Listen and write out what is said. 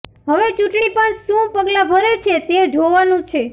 હવે ચૂંટણી પંચ શું પગલાં ભરે છે તે જોવાનું છે